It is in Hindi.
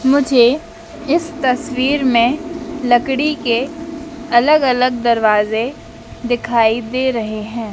मुझे इस तस्वीर में लकड़ी के अलग अलग दरवाजे दिखाई दे रहे हैं।